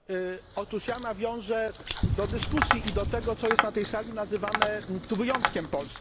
Otóż ja nawiążę do dyskusji i do tego, co jest na tej sali nazywane wyjątkiem polskim.